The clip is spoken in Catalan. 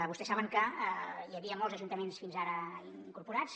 vostès saben que hi havia molts ajuntaments fins ara incorporats